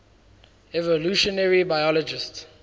evolutionary biologists